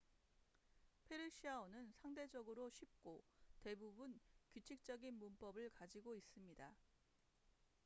페르시아어는 상대적으로 쉽고 대부분 규칙적인 문법을 가지고 있습니다